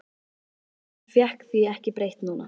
En hann fékk því ekki breytt núna.